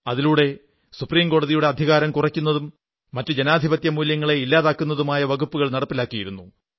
അതിലൂടെ സുപ്രീംകോടതിയുടെ അധികാരം കുറയ്ക്കുന്നതും മറ്റു ജനാധിപത്യ മൂല്യങ്ങളെ ഇല്ലാതെയാക്കുന്നതുമായ വകുപ്പുകൾ നടപ്പിലാക്കിയിരുന്നു